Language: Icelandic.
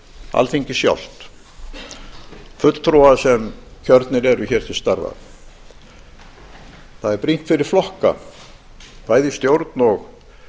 alþingi sjálft fulltrúa sem kjörnir eru hér til starfa það er brýnt fyrir flokka bæði í stjórn